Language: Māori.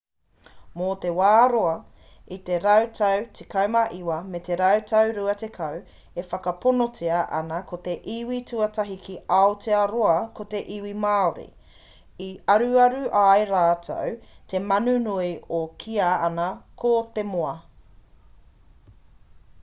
mō te wā roa i te rautau 19 me te rautau 20 e whakaponotia ana ko te iwi tuatahi ki aotearoa ko te iwi māori i aruaru ai rātou te manu nui e kīa ana ko te moa